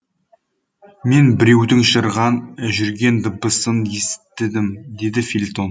мен біреудің жүрген дыбысын есіттім деді фельтон